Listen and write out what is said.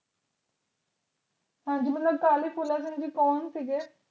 ਹਾਜਮੁਲਾ ਅਕਾਲੀ ਫੂਲਾ ਸਿੰਘ ਜੀ ਕੌਣ ਸੀਗੇ